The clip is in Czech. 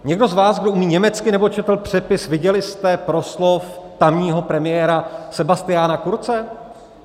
Někdo z vás, kdo umí německy nebo četl přepis, viděli jste proslov tamního premiéra Sebastiana Kurze?